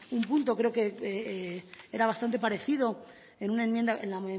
un punto creo que era bastante parecido en una enmienda en la